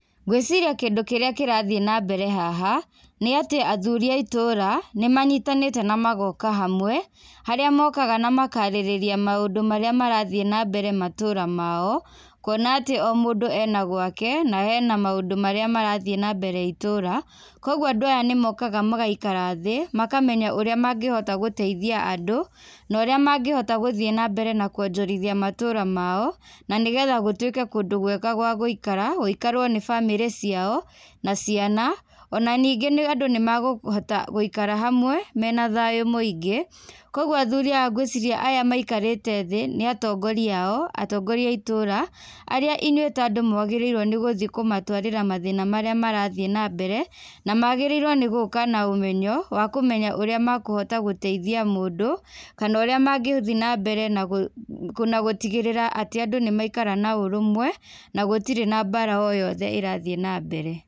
Ngwĩciria kindũ kĩrĩa kĩrathiĩ nambere haha, nĩatĩ athuri a itũra, nĩmanyitanĩte na magoka hamwe, harĩa mokaga na makarĩrĩria maũndũ marĩa marathiĩ nambere matũra mao, kuona atĩ o mũndũ ena gwake, na ena maũndũ marĩa marathiĩ nambere itũra, koguo andũ aya nĩmokaga magaikara thĩ, makamenya ũrĩa mangĩhota gũteithia andũ, na ũrĩa mangĩhota gũthiĩ nambere na kuonjorithia matũra mao, na nĩgetha gũtuĩke kũndũ kwega kwa gũikara, gũikarwo nĩ bamĩrĩ ciao, na ciana, ona ningĩ nĩ andũ nĩmakũhota gũikara hamwe, mena thayũ mũingĩ, koguo athuri aya ngwĩciria aya maikarĩte thĩ, nĩ atongoria ao, atongoria a itũra, arĩa inyuĩ ta andũ mwagĩrĩirwo gũthiĩ kũmatwarĩra mathĩna marĩa marathiĩ na mbere, na magĩrĩirwo nĩ gũka na ũmenyo, wa kũmenya ũrĩa mekũhota gũteithia mũndũ, kana ũrĩa mangĩthiĩ nambere nagũ nagũtigĩrĩra atĩ andũ nĩmaikara na ũrũmwe, na gũtirĩ na mbara o yothe ĩrathiĩ nambere.